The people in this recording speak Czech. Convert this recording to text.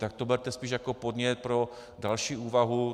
Tak to berte spíš jako podnět pro další úvahu.